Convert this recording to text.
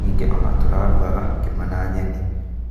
Ningĩ ona tũrarugaga ngima na nyeni